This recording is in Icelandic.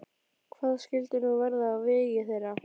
Hvað skyldi nú verða á vegi þeirra?